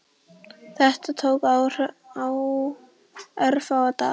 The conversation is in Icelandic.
Þetta tók örfáa daga.